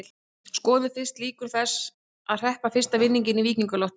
Skoðum fyrst líkur þess að hreppa fyrsta vinning í Víkingalottó.